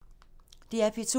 DR P2